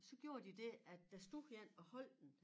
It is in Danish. Så gjorde de det at der stod 1 og holdt den